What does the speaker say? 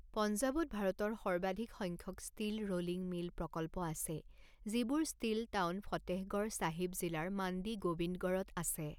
পঞ্জাৱত ভাৰতৰ সৰ্বাধিক সংখ্যক ষ্টীল ৰোলিং মিল প্ৰকল্প আছে, যিবোৰ ষ্টীল টাউন ফতেহগড় চাহিব জিলাৰ মাণ্ডি গোবিন্দগড়ত আছে।